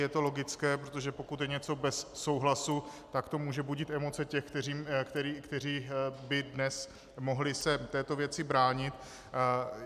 Je to logické, protože pokud je něco bez souhlasu, tak to může budit emoce těch, kteří by dnes mohli se této věci bránit.